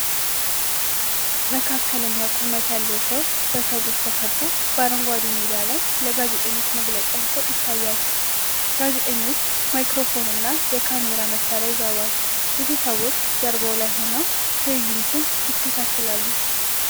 መካከለኛ ቁመት ያለው ሰው በሰዎች ተከቦ በአረንጓዴ ሜዳ ላይ ለጋዜጠኞች መግለጫ ሲሰጥ ይታያል። ጋዜጠኞች ማይክሮፎንና የካሜራ መሳሪያ ይዘዋል። ብዙ ሰዎች ጀርባው ላይ ሆነው ትዕይንቱን ይከታተላሉ።